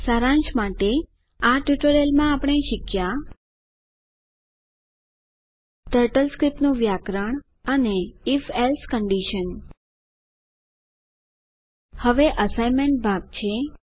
સારાંશ માટે આ ટ્યુટોરીયલ માં આપણે શીખ્યા ટર્ટલ સ્ક્રિપ્ટનું વ્યાકરણ અને if એલ્સે કન્ડીશન હવે એસાઈનમેન્ટ ભાગ છે